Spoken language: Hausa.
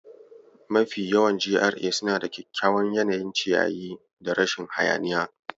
Mafiya yawan GRA suna da kyakkyawan yanayin ciyayi da rashin hayaniya.